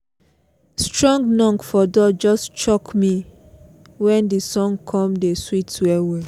strong knok for door just shock me when the song come dey sweet well well